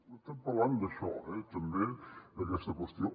estem parlant d’això eh també d’aquesta qüestió